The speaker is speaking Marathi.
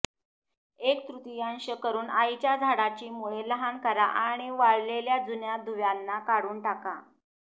एक तृतीयांश करून आईच्या झाडाची मुळे लहान करा आणि वाळलेल्या जुन्या दुव्यांना काढून टाका